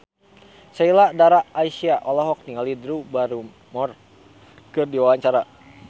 Sheila Dara Aisha olohok ningali Drew Barrymore keur diwawancara